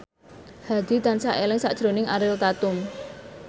Hadi tansah eling sakjroning Ariel Tatum